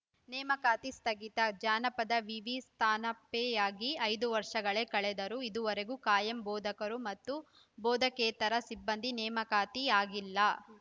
ನೇಮಕಾತಿ ಸ್ಥಗಿತ ಜಾನಪದ ವಿವಿ ಸ್ಥಾನಪೆಯಾಗಿ ಐದು ವರ್ಷಗಳೇ ಕಳೆದರೂ ಇದುವರೆಗೆ ಕಾಯಂ ಬೋಧಕರು ಮತ್ತು ಬೋಧಕೇತರ ಸಿಬ್ಬಂದಿ ನೇಮಕಾತಿ ಆಗಿಲ್ಲ